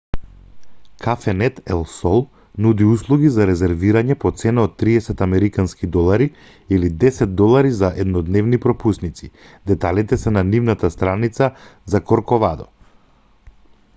кафенет ел сол нуди услуги за резервирање по цена од 30 американски долари или 10 долари за еднодневни пропусници деталите се на нивната страница за корковадо